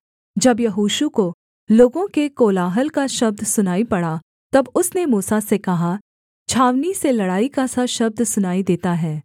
जब यहोशू को लोगों के कोलाहल का शब्द सुनाई पड़ा तब उसने मूसा से कहा छावनी से लड़ाई का सा शब्द सुनाई देता है